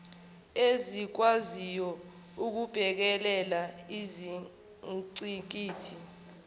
ezikwaziyo ukubhekela izingqikithi